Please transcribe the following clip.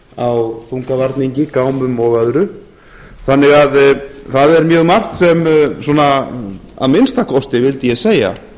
á þungavarningi gámum og öðru þannig að það er mjög margt sem svona að minnsta kosti vildi ég segja